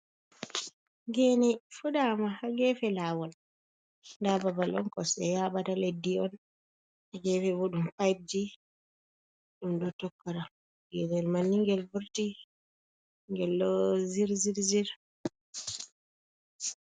Geene fuɗaama haa geefe laawol, nda babal on kosɗe yaaɓata, leddi on haa geene bo ɗum peji ɗum ɗo tokora geene manni ngel vorti ngel ɗo zirzirzir.